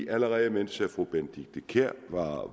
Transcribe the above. allerede mens fru benedikte kiær